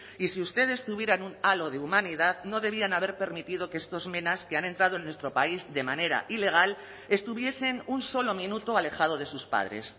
y si ustedes tuvieran un halo de humanidad no debían haber permitido que estos menas que han entrado en nuestro país de manera ilegal estuviesen un solo minuto alejado de sus padres